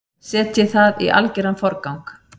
Setjið það í algeran forgang.